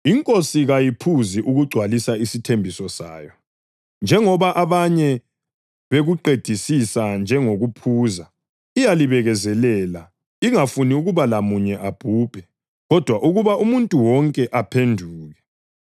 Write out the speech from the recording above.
INkosi kayiphuzi ukugcwalisa isithembiso sayo, njengoba abanye bekuqedisisa njengokuphuza. Iyalibekezelela, ingafuni ukuba lamunye abhubhe, kodwa ukuba umuntu wonke aphenduke.